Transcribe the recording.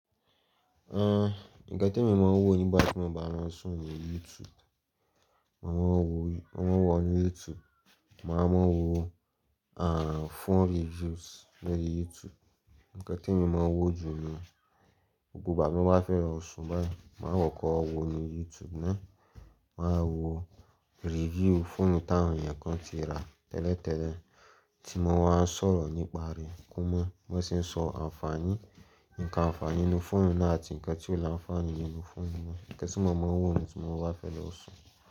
Ah! Ǹnkàn temi mo máa ń wò nígbà tí mo bá máa n ṣùn ní YouTube, màá wọ̀ ní YouTube, màá mọ̀ wo ah! Phone reviews lórí YouTube. Ǹnkàn tí mo máa ń wò jù ní gbogbo ìgbà tí mo bá fẹ́ lo ṣùn báyìí, màá kọkọ́ wo ní YouTube ná. Màá wo review fóònù tí àwọn èèyàn kan ti rà tẹ́lẹ̀tẹ́lẹ̀, tí wọ́n máa ń sọ̀rọ̀ nípa rẹ̀, kó mọ̀ bí wọ́n ṣe ń sọ àǹfààní, nnkan àǹfààní nínú fóònù náà àti nnkan tí ò láǹfààní nínú fóònù náà. Ǹnkàn tí mo máa ń wò ni tí mo bá fẹ́ lọ ṣùn.